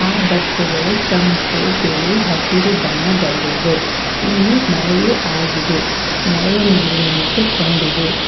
ಆ ಬಸ್ಸು ಗಳು ಕೆಂಪು ಬಿಳಿ ಹಸಿರು ಬಣ್ಣದಲ್ಲಿವೆ ಇಲ್ಲಿ ಮಳೆಯೂ ಆಗಿದೆ ಮಳೆಯ ನೀರು ನಿಂತು ಕೊಂಡಿದೆ.